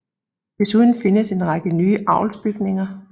Desuden findes en række nye avlsbygninger